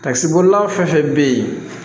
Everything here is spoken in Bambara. Takisibolila fɛn fɛn bɛ yen